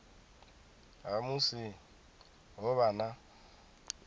ha musi ho vha na